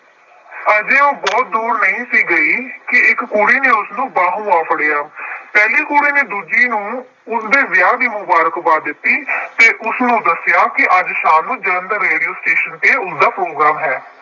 ਅਜੇ ਉਹ ਬਹੁਤ ਦੂਰ ਨਹੀਂ ਸੀ ਗਈ ਕਿ ਇੱਕ ਕੁੜੀ ਨੇ ਉਸਨੂੰ ਬਾਹੋਂ ਆ ਫੜਿਆ। ਪਹਿਲੀ ਕੁੜੀ ਨੇ ਦੂਜੀ ਨੂੰ ਉਸਦੇ ਵਿਆਹ ਦੀ ਮੁਬਾਰਕਬਾਦ ਦਿੱਤੀ ਅਤੇ ਉਸਨੂੰ ਦੱਸਿਆ ਕਿ ਅੱਜ ਸ਼ਾਮ ਨੂੰ ਜਲੰਧਰ ਰੇਡੀਉ ਸਟੇਸ਼ਨ ਤੇ ਉਸਦਾ ਪ੍ਰੋਗਰਾਮ ਹੈ।